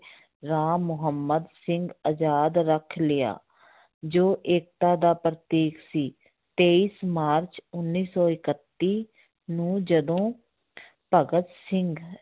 ਰਾਮ ਮੁਹੰਮਦ ਸਿੰਘ ਆਜ਼ਾਦ ਰੱਖ ਲਿਆ ਜੋ ਏਕਤਾ ਦਾ ਪ੍ਰਤੀਕ ਸੀ, ਤੇਈ ਮਾਰਚ ਉੱਨੀ ਸੌ ਇਕੱਤੀ ਨੂੰ ਜਦੋਂ ਭਗਤ ਸਿੰਘ